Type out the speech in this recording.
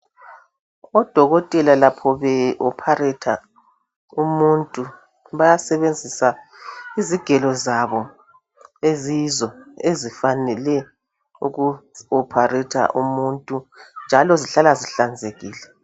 Odokotela lapho behlinza umuntu bayasebenzisa izigelo zabo eziyizo ezifanele ukuhlinza umuntu njalo zihlala zihlanzekile.